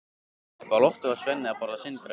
Uppi á lofti var Svenni að borða sinn graut.